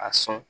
A sɔn